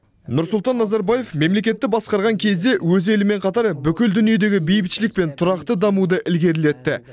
нұрсұлтан назарбаев мемлекетті басқарған кезде өз елімен қатар бүкіл дүниедегі бейбітшілік пен тұрақты дамуды ілгерілетті